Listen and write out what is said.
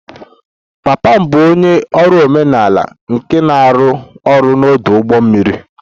Papa m bụ onye ọrụ omenala nke na-arụ ọrụ n'ọdụ ụgbọ mmiri